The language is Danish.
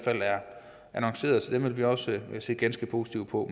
annonceret så dem vil vi også se ganske positivt på